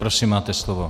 Prosím, máte slovo.